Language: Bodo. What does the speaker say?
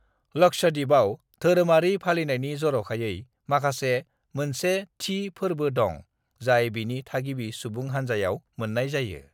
लक्षद्वीपआव धोरोमारि फालिनायनि जर'खायै माखासे मोनसे थि फोर्बो दं जाय बेनि थागिबि सुबुं हानजायाव मोननाय जायो।